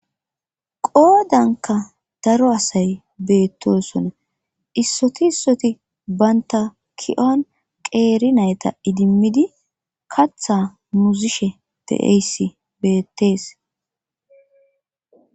qoodanka daro asay beettosona issoti issoti bantaki7on qeeri nayta idimmidi katha muzishe de7eysi beettees